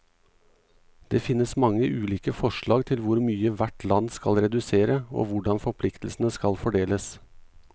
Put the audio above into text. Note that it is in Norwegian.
Det finnes mange ulike forslag til hvor mye hvert land skal redusere, og hvordan forpliktelsene skal fordeles.